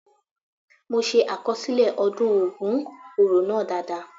The ogun oro festival was well recorded by me.